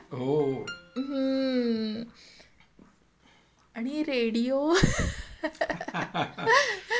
हं.आणि radio Laugh